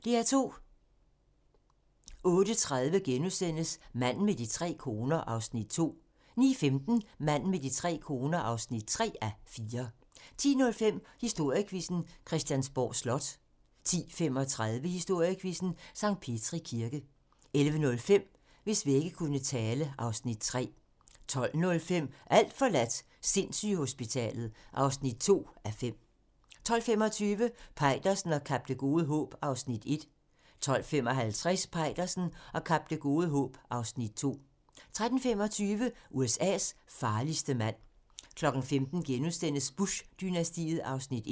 08:30: Manden med de tre koner (2:4)* 09:15: Manden med de tre koner (3:4) 10:05: Historiequizzen: Christiansborg Slot 10:35: Historiequizzen: Sankt Petri Kirke 11:05: Hvis vægge kunne tale (Afs. 3) 12:05: Alt forladt - sindssygehospitalet (2:5) 12:25: Peitersen og Kap Det Gode Håb (Afs. 1) 12:55: Peitersen og Kap Det Gode Håb (Afs. 2) 13:25: USA's farligste mand 15:00: Bush-dynastiet (1:6)*